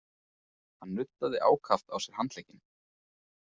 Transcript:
Hann nuddaði ákaft á sér handlegginn.